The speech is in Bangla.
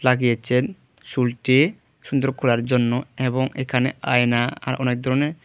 চুলটি সুন্দর করার জন্য এবং এখানে আয়না আর অনেক ধরনের--